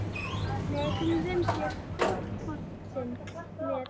Nei Hvernig finnst þér Fótbolti.net?